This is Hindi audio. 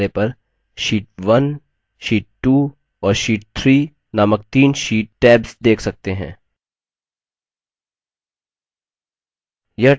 अब आप spreadsheet के बायें किनारे पर sheet1 sheet 2 और sheet 3 नामक तीन sheet tabs देख सकते हैं